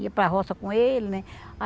Ia para roça com ele, né?